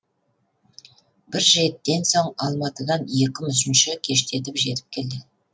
бір жетіден соң алматыдан екі мүсінші кештетіп жетіп келді